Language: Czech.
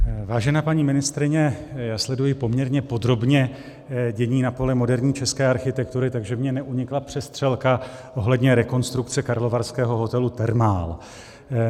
Vážená paní ministryně, já sleduji poměrně podrobně dění na poli moderní české architektury, takže mně neunikla přestřelka ohledně rekonstrukce karlovarského hotelu Thermal.